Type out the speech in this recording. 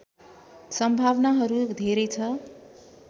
सम्भावनाहरू धेरै छ